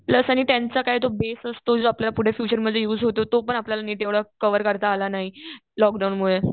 Plus आणि टेंथचा काय तो बेस असतो जो आपल्याला पुढे फ्युचरमध्ये युज होतो तो पण आपल्याला नीट एव्हडा कव्हर करता आला नाही लॉकडाऊनमुळे.